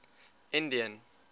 indian